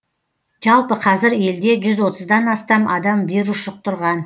жалпы қазір елде жүз отыздан астам адам вирус жұқтырған